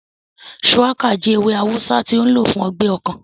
Shùwákà jẹ́ ewé awùsá tó n lò fún ọgbẹ́ ọkàn